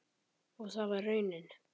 Og það var raunin.